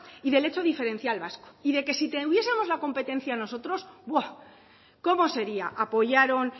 y del hecho diferencial vasco y de que si tuviesemos la competencia nosotros cómo sería apoyaron